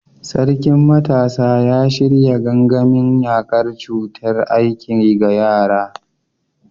Sarkin Matasa ya shirya gangamin yakar cutar aiki ga yara.